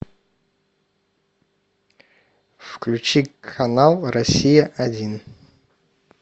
включи канал россия один